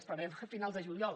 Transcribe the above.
esperem a finals de juliol